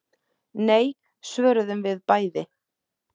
Nei, svöruðum við bæði.